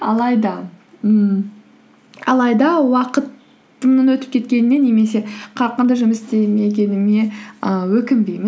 алайда ммм алайда уақытымның өтіп кеткеніне немесе қарқынды жұмыс істемегеніме ііі өкінбеймін